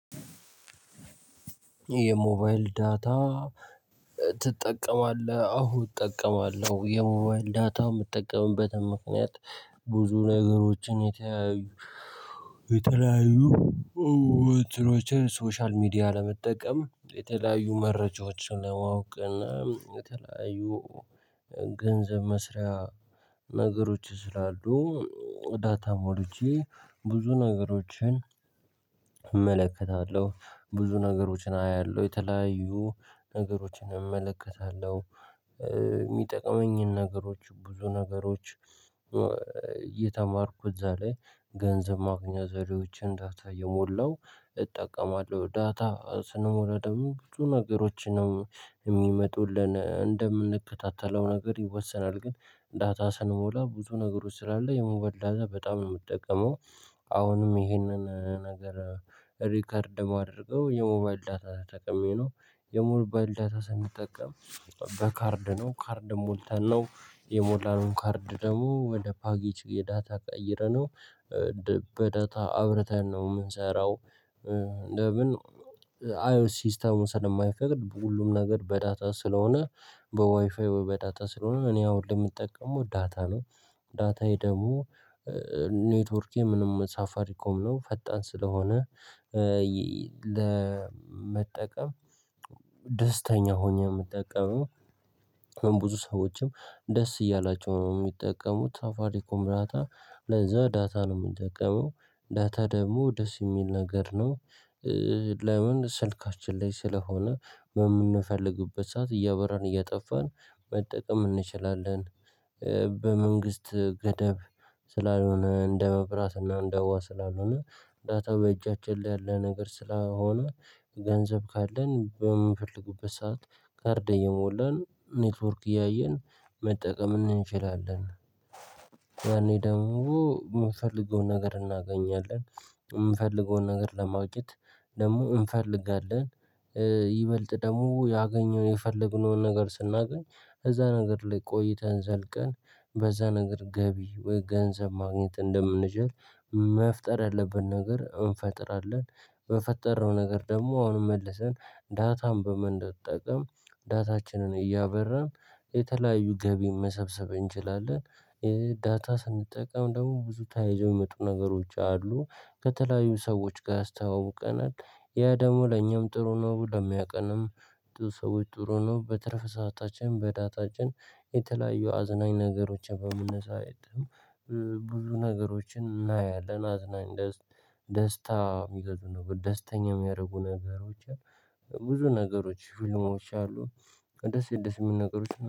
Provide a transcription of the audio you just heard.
የሞባይል ዳታ ትጠቀማለህ? አዎ እጠቀማለሁ የሞባይል ዳታው የምጠቀምበትን ምክንያት ብዙ ነገሮችን የተለያዩ የተለያዩ የተለያዩ እትኖችን ሶሻል ሚዲያ ለመጠቀም የተለያዩ መረጃዎችን ለማወቅ እና በተለያዩ ገንዘብ መስሪያ ነገሮች ስላሉ ዳታ ሞልቼ፤ ብዙ ነገሮችን እመለከታለሁ፤ ብዙ ነገሮችን አያለሁ፤ የተለያዩ ነገሮችን እመለከታለሁ። የሚጠቅመኝን ነገሮች ብዙ ነገሮች እየተማርኩ እዛ ላይ ገንዘብ ማግኛ ዘዴዎችን ዳታ እየሞላው እጠቀማለሁ። ዳታ ስንሞላ ደግሞ ብዙ ነገሮችንም የሚመጡልን እንደምንከታተለው ነገር ይወሰናል ግን ዳታ ስንሞላ ብዙ ነገሮች ስላለ፤ የሞባይል ዳታ በጣም ነው የምጠቀመው። አሁንም ይህንን ነገር ሪከርድ ባደርገው፤ የሞባይል ዳታ ተጠቅሜ ነው። የሞባይል ዳታ ሳንጠቀም በካርድ ነው። ካርድ ሞልተን ነው። የሞላነው ካርድ ደግሞ ወደ ፓኬች የዳታ ቀይረነው በዳታ አብርተን ነው ምንሰራው ለምን አይዌስ ሲስተሙ ስለማይፈቅድ ሁሉም ነገር በዳታ ስለሆነ በዋይፋይ በዳታ ስለሆነ እኔ አሁን ለምጠቀመው ዳታ ነው። ዳታዬ ደግሞ ኔትወርኬ ምንም ሳፋሪ ኮም ነው ፈጣን ስለሆነ፤ ለመጠቀም ደስተኛ ሆኜ የምጠቀመው። ብዙ ሰዎችም ደስ እያላቸው ነው የሚጠቀሙት። ሳፋሪኮም ዳታ ለዛ ዳታ ነው የምንጠቀመው። ዳታ ደግሞ ደስ የሚል ነገር ነው። ለምን? ስልካችን ላይ ስለሆነ የምንፈልግበት ሰዓት እያበራን፣ እያጠፋን መጠቀም እንችላለን። በመንግስት ገደብ ስላልሆነ እንደ መብራት እና እንደ ውሃ ስላልሆነ ዳታ በእጃችን ላይ ያለ ነገር ስለሆነ ገንዘብ ካለን በምንፈልግበት ሰዓት ካርድ እየሞላን፤ ኔክትወርክ እያየን መጠቀም እንችላለን። ያኔ ደግሞ የምፈልገውን ነገር እናገኛለን፤ የምፈልገውን ነገር ለማግኘት ደግሞ እንፈልጋለን። ይበልጥ ደግሞ ያገኘውን፣ የፈለግነውን ነገር ስናገኝ እዛ ነገር ላይ ቆይተን ዘልቀን በዛ ነገር ገቢ ወይ ገንዘብ ማግኘት እንደምንችል፤ መፍጠር ያለብን ነገር እንፈጥራለን። በፈጠረው ነገር ደግሞ አሁን መልሰን ዳታን በመጠቀም ዳታችንን እያበራን የተለያዩ ገቢ መሰብሰብ እንችላለን። ዳታ ስንጠቀም ደግሞ ብዙ ተያይዞ የሚመጡ ነገሮች አሉ ከተለያዩ ሰዎች ጋር ያስተዋውቀናል። ያ ደግሞ ለኛም ጥሩ ነው ብሎ ለሚያውቀንም ለሰዎች ጥሩ ነው። በትረፍ ሰዓታችን በዳታችን የተለያየ አዝናኝ ነገሮችን በመነሳት ብዙ ነገሮችን እናያለን፤ አዝናኝ ደስታ ደስታ የሚገዙ ነው፤ ደስተኛ የሚያደርጉ ነገሮችን ብዙ ነገሮች ፊልሞች አሉ ደስ ደስ የሚል ነገሮች